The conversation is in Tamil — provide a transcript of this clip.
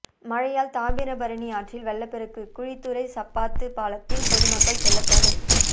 மழையால் தாமிரபரணி ஆற்றில் வெள்ளப்பெருக்கு குழித்துறை சப்பாத்து பாலத்தில் பொதுமக்கள் செல்ல தடை